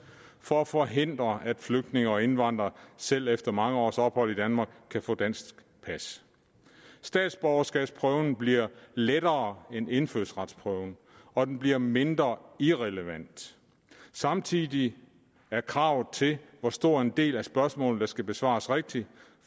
for at forhindre at flygtninge og indvandrere selv efter mange års ophold i danmark kan få dansk pas statsborgerskabsprøven bliver lettere end indfødsretsprøven og den bliver mindre irrelevant samtidig er kravet til hvor stor en del af spørgsmålene der skal besvares rigtigt